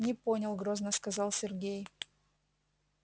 не понял грозно сказал сергей